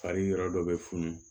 Fari yɔrɔ dɔ bɛ funun